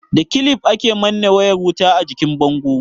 Da kilif, ake manne wayar wuta a jikin bango.